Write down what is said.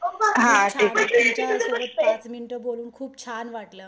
तुमच्यासोबत पाच मिनिटं बोलून खूप छान वाटलं.